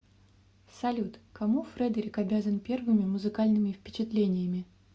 салют кому фредерик обязан первыми музыкальными впечатлениями